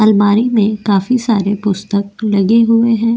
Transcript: अलमारी में काफी सारे पुस्तक लगे हुए हैं ।